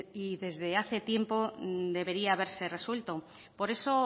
y desde hace tiempo debería haberse resuelto por eso